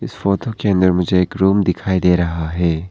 इस फोटो के अंदर मुझे एक रूम दिखाई दे रहा है।